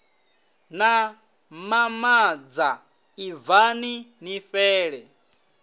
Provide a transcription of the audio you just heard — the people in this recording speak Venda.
na mamoza ibvani ni fhele